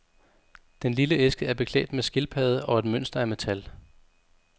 Den lille æske er beklædt med skildpadde og et mønster af metal.